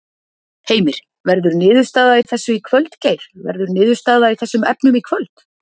Heimir: Verður niðurstaða í þessu í kvöld Geir, verður niðurstaða í þessum efnum í kvöld?